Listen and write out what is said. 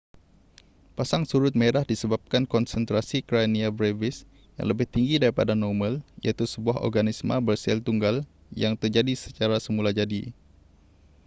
pasang surut merah disebabkan konsentrasi karenia brevis yang lebih tinggi daripada normal iaitu sebuah organisma bersel tunggal yang terjadi secara semulajadi